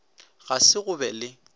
ga se go be le